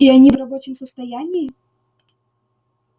и они в рабочем состоянии